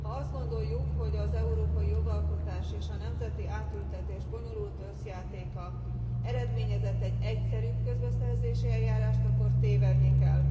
Ha azt gondoljuk, hogy az európai jogalkotás és a nemzeti átültetés bonyolult összjátéka eredményezett egy egyszerűbb közbeszerzési eljárást, akkor tévedni kell.